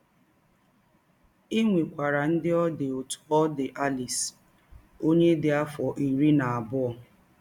E nwekwara ndị ọ dị otú ọ dị Alice, ọnye dị afọ iri na abụọ.